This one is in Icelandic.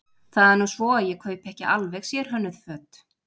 Það er nú svo að ég kaupi ekki alveg sérhönnuð föt.